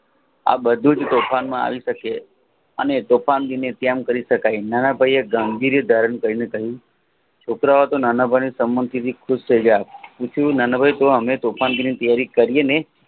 આ બધું જ ટુંકાણમાં આવી શકે અને ટોકનગ નિત્યનગ કરી શકાય નાનાભાઈએ ઢોંધી રૂપ ધારણ કરીને કહ્યું છોકરાઓતો નાનાભાઇના સબંધ થી ખુશ થાય પૂછું નન્દરે તો અમે તોફાનની તૈયારી કરિયેજ ને